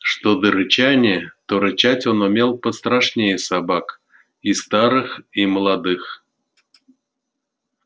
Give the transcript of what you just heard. что до рычания то рычать он умел пострашнее собак и старых и молодых